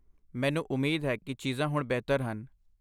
ਮੈਨੂੰ ਉਮੀਦ ਹੈ ਕਿ ਚੀਜ਼ਾਂ ਹੁਣ ਬਿਹਤਰ ਹਨ?